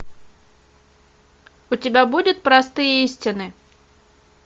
у тебя будет простые истины